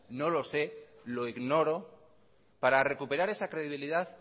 no lo sé lo ignoro para recuperar esa credibilidad